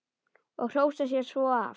Og hrósa sér svo af.